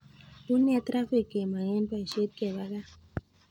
Unee trafik kemang en boisiet keba gaa